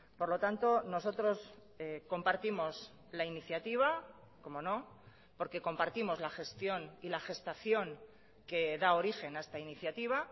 por lo tanto nosotros compartimos la iniciativa cómo no porque compartimos la gestión y la gestación que da origen a esta iniciativa